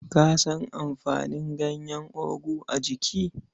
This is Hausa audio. Ka san amfanin ganyen ogu a jiki?